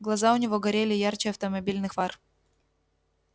глаза у него горели ярче автомобильных фар